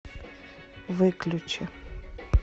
выключи